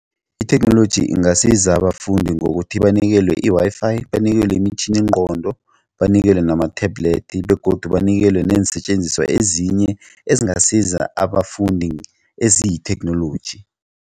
Itheknoloji ingasiza abafundi ngokuthi banikelwe i-Wi-Fi banikelwe imitjhininqondo banikelwe nama-tablet begodu banikelwe neensetjenziswa ezinye ezingasiza abafundi eziyitheknoloji.